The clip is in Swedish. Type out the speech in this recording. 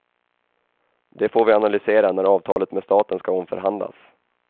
Det får vi analysera när avtalet med staten ska omförhandlas.